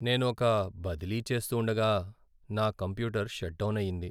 నేను ఒక బదిలీ చేస్తూండగా నా కంప్యూటర్ షట్ డౌన్ అయింది.